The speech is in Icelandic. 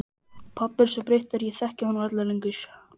Pabbi er svo breyttur að ég þekki hann varla lengur.